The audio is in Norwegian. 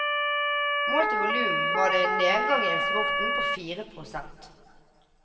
Målt i volum var det en nedgang i eksporten på fire prosent.